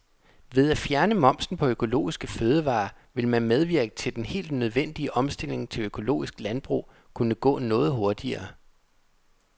Ved at fjerne momsen på økologiske fødevarer ville man medvirke til at den helt nødvendige omstilling til økologisk landbrug kunne gå noget hurtigere.